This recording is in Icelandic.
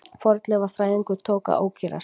Fornleifafræðingurinn tók að ókyrrast.